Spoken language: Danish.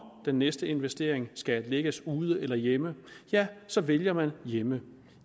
den næste investering skal lægges ude eller hjemme så vælger hjemme